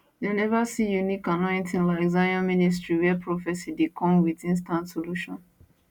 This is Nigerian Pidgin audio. dem neva see unique annointing like zion ministry wia prophecy dey come wit instant solution